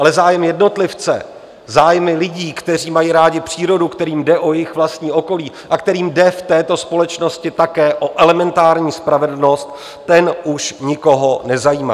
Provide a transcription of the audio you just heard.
Ale zájem jednotlivce, zájmy lidí, kteří mají rádi přírodu, kterým jde o jejich vlastní okolí a kterým jde v této společnosti také o elementární spravedlnost, ten už nikoho nezajímá.